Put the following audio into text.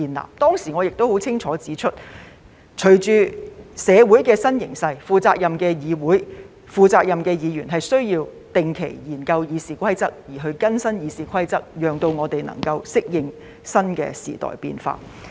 我當時亦清楚指出，隨着社會的新形勢，負責任的議會、負責任的議員需要定期研究《議事規則》，並要更新《議事規則》，讓我們可以適應新的時代變化。